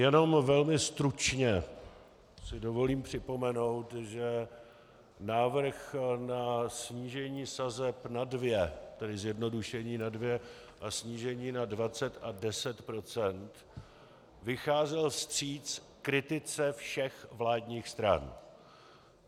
Jenom velmi stručně si dovolím připomenout, že návrh na snížení sazeb na dvě, tedy zjednodušení na dvě a snížení na 20 a 10 %, vycházel vstříc kritice všech vládních stran.